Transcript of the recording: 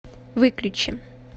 выключи